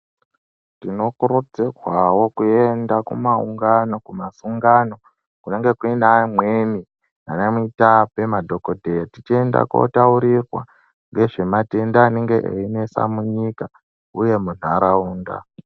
Tinokurudzirwawo kuenda kumaungano kumasungano kunenge kuneamweni anamutape madhokodheya tichienda kotaurirwa ngezvematenda aneeinesa munyika uye munharaunda